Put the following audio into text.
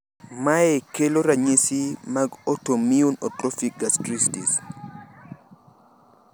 Mae kelo ranyisi mag autoimmune atrophic gastritis.